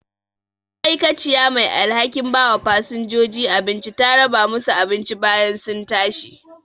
ma'aikaciya mai alhakin bawa fasinjoji abinci ta raba musu abinci bayan sun tashi